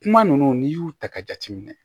Kuma ninnu n'i y'u ta ka jateminɛ